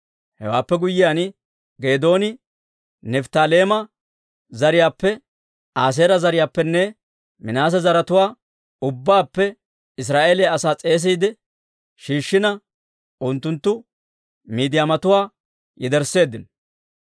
Hewaappe guyyiyaan Geedooni, Nifttaaleema zariyaappe, Aaseera zariyaappenne Minaase zaratuwaa ubbaappe Israa'eeliyaa asaa s'eesiide shiishshina, unttunttu Miidiyaamatuwaa yedersseeddino.